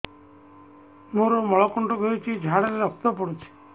ମୋରୋ ମଳକଣ୍ଟକ ହେଇଚି ଝାଡ଼ାରେ ରକ୍ତ ପଡୁଛି